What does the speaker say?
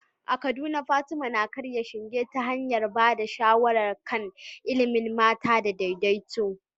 A Kaduna, Fatima na karya shinge ta hanyar ba da shawara kan ilimin mata da daidaito.